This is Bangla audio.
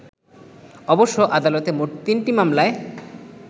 অবশ্য আদালতে মোট তিনটি মামলায়